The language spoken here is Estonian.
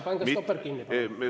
Pange stopper kinni, palun!